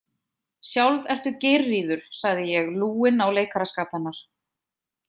Sjálf ertu Geirríður, sagði ég lúinn á leikaraskap hennar.